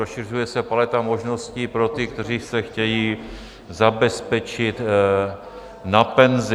Rozšiřuje se paleta možností pro ty, kteří se chtějí zabezpečit na penzi.